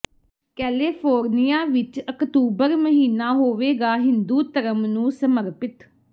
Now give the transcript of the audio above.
ਕੈਲੇਫੋਰਨੀਆ ਵਿੱਚ ਅਕਤੂਬਰ ਮਹੀਨਾ ਹੋਵੇਗਾ ਹਿੰਦੂ ਧਰਮ ਨੂੰ ਸਮਰਪਿਤ